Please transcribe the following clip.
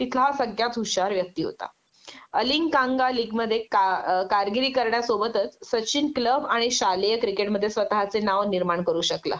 तिथला हा सगळ्यात हुशार व्यक्ती होता अलिंकांगालिक मध्ये अ कारगिरी करण्यासोबतच सचिन क्लब आणि शालेय क्रिकेटमध्ये स्वतःचे नाव निर्माण करू शकला